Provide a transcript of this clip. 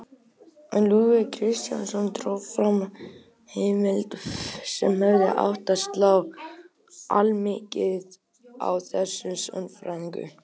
En Lúðvík Kristjánsson dró fram heimild sem hefði átt að slá allmikið á þessa sannfæringu.